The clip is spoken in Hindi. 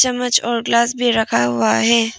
चम्मच और ग्लास भी रखा हुआ है।